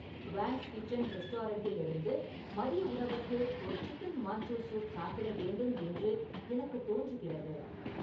வாங்ஸ் kitchen ரெஸ்டாரண்ட்டில் இருந்து மதிய உணவுக்கு ஒரு சிக்கன் மன்ச்சோ சூப் சாப்பிட வேண்டும் என்று எனக்கு தோன்றுகிறது